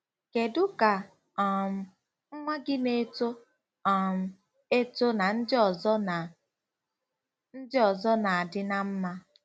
Kedu ka um nwa gị n'eto um eto na ndị ọzọ na ndị ọzọ na-adị ná mma?